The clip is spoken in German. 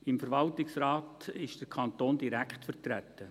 Im Verwaltungsrat ist der Kanton direkt vertreten.